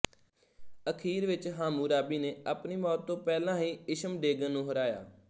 ਅਖੀਰ ਵਿੱਚ ਹਾਮੂਰਾਬੀ ਨੇ ਆਪਣੀ ਮੌਤ ਤੋਂ ਪਹਿਲਾਂ ਹੀ ਇਸ਼ਮਡੇਗਨ ਨੂੰ ਹਰਾਇਆ